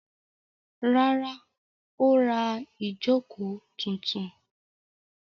Rárá, ó ra ìjókòó tuntun.